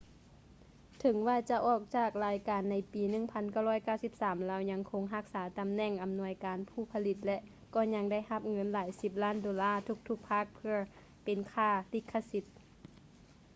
ເຖິງວ່າຈະອອກຈາກລາຍການໃນປີ 1993 ລາວຍັງຄົງຮັກສາຕຳແໜ່ງອຳນວຍການຜູ້ຜະລິດ ແລະ ກໍຍັງໄດ້ຮັບເງິນຫຼາຍສິບລ້ານໂດລ້າທຸກໆພາກເພື່ອເປັນຄ່າລິຂະສິດ